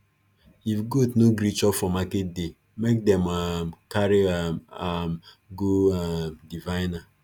if goat no gree chop for market day make them um carry um am go um diviner